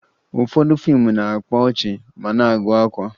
Ụfọdụ fiimu na-akpa ọchị ma na-agụ akwa